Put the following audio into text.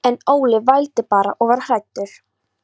En Óli vældi bara og var hræddur.